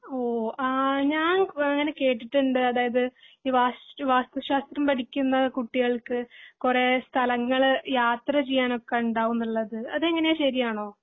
ഓഹ് ആഹ് ഞാൻ ഇങ്ങനെ കേട്ടിട്ടുണ്ട് അതായത് ഈ വാസ്തു വാസ്തുശാസ്ത്രം പഠിക്കുന്ന കുട്ടികൾക്ക് കൊറേ സ്ഥലങ്ങൾ യാത്ര ചെയ്യാൻ ഒക്കെ ഉണ്ടാവും എന്നുള്ളത് അതെങ്ങിനെ ശെരിയാണോ